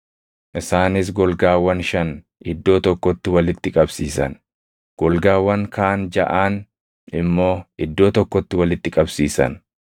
Isaanis golgaawwan shan iddoo tokkotti walitti qabsiisan; golgaawwan kaan jaʼaan immoo iddoo tokkotti walitti qabsiisan.